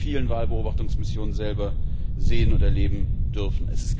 Ich habe das in vielen Wahlbeobachtungsmissionen selber sehen und erleben dürfen.